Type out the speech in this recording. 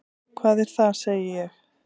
Hvað er það? segi ég.